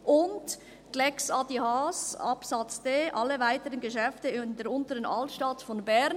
Und die «Lex Adrian Haas», Buchstabe d: «alle weiteren Geschäfte in der Unteren Altstadt von Bern».